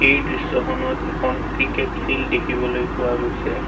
এই দৃশ্যখনত এখন ক্ৰিকেট ফিল্ড দেখিবলৈ পোৱা গৈছে।